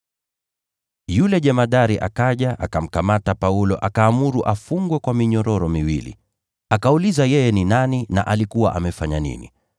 Yule jemadari akaja, akamkamata Paulo akaamuru afungwe kwa minyororo miwili. Akauliza yeye ni nani, na alikuwa amefanya nini.